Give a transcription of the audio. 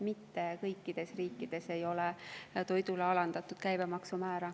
Mitte kõikides riikides ei ole alandatud toiduainete käibemaksu määra.